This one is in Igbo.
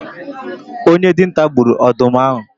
Onye dinta gburu ọdụm ahụ